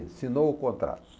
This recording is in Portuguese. Assinou o contrato.